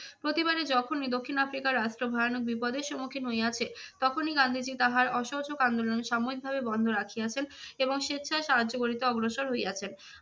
প্রতিবারে যখনই দক্ষিণ আফ্রিকা রাষ্ট্র ভয়ানক বিপদের সম্মুখীন হইয়াছে তখনই গান্ধীজি তাহার অসহযোগ আন্দোলন সাময়িকভাবে বন্ধ রাখিয়াছেন এবং স্বেচ্ছায় সাহায্য করিতে অগ্রসর হইয়াছেন।